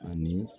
Ani